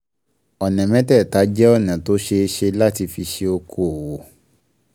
Ọ̀nà mẹ́tẹ̀ẹ̀ta jẹ́ ọ̀nà tó ṣeé ṣe láti fi ṣe okoòwò